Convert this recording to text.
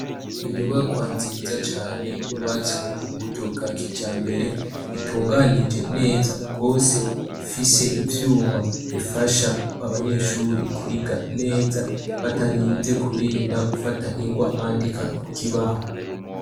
Inyubakwa nziza cane yubatswe mu buryo bwa kijambere. Itunganije neza gose, ifise ivyuma bifasha abanyeshure kwiga neza, batarinze kurinda gufata ingwara bandika ku kibaho.